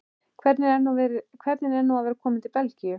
Hvernig er nú að vera kominn til Belgíu?